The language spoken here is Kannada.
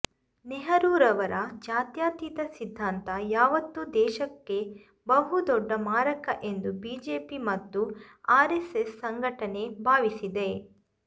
ನೆಹರುರವರ ಜಾತ್ಯಾತೀತ ಸಿದ್ಧಾಂತ ಯಾವತ್ತೂ ದೇಶಕ್ಕೆ ಬಹುದೊಡ್ಡ ಮಾರಕ ಎಂದು ಬಿಜೆಪಿ ಮತ್ತು ಆರೆಸ್ಸೆಸ್ ಸಂಘಟನೆ ಭಾವಿಸಿದೆ